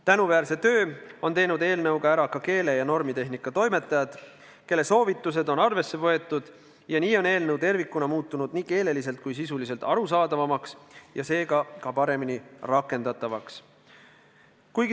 Tänuväärse töö on eelnõuga ära teinud ka keele- ja normitehnika toimetajad, kelle soovitused on arvesse võetud ja nii on eelnõu tervikuna muutunud nii keeleliselt kui sisuliselt arusaadavamaks ja seega ka paremini rakendatavaks.